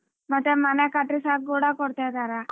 ಮತ್ತೆ ಮನೆ ಕಟ್ಟಿಸ್ಯಾಕ ಕೂಡಾ ಕೊಡ್ತಾ ಇದಾರ.